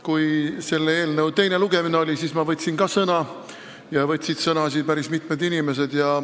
Kui oli selle eelnõu teine lugemine, siis ma võtsin ka sõna ja siin võtsid sõna päris mitmed inimesed.